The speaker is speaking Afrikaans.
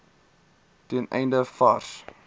ten einde vars